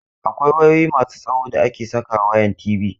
Akwai wayoyi masu tsawo da ake saka wayan TV.